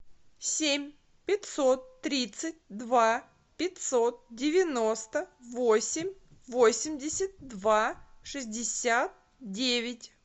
семь пятьсот тридцать два пятьсот девяносто восемь восемьдесят два шестьдесят девять